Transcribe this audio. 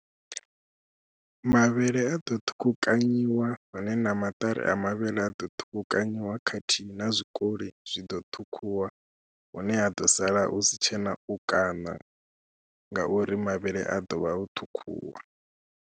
Mavhele a ḓo ṱhukhukanyiwa hone na maṱari a mavhele a ḓo ṱhukhukanyiwa khathihi na zwikoli zwi ḓo ṱhukhuwa, hune ha ḓo sala hu si tshena u kaṋa ngauri mavhele a ḓo vha o ṱhukhuwa.